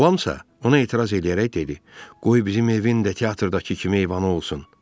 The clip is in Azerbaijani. Ram isə ona etiraz eləyərək dedi: qoy bizim evin də teatrdakı kimi eyvanı olsun.